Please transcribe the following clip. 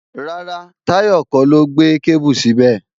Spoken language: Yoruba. Rárá, Táyọ̀ kọ́ ló gbé kébù síbẹ̀